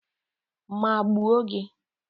Maa gbuo gi.